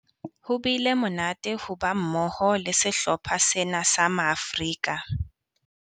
Ho bile monate ho ba mmoho le sehlopha sena sa Maafrika.